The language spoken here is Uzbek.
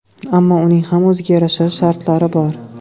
Ammo uning ham o‘ziga yarasha shartlari bor.